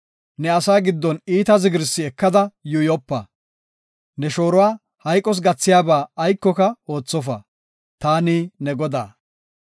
“Ne asaa giddon iita zigirsi ekada yuuyopa. “Ne shooruwa hayqos gathiyaba aykoka oothofa. Taani ne Godaa.